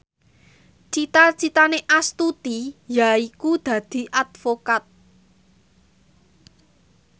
cita citane Astuti yaiku dadi advokat